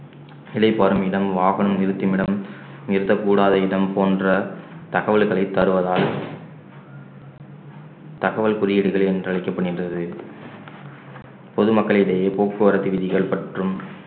இளைப்பாறும் இடம் வாகனம் நிறுத்துமிடம் நிறுத்தக்கூடாத இடம் போன்ற தகவல்களைத் தருவதால் தகவல் குறியீடுகள் என்று அழைக்கப்படுகின்றது பொதுமக்களிடையே போக்குவரத்து விதிகள் மற்றும்